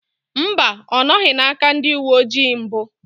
Mba, ọ nọghị n'aka ndị uwe ojii mbụ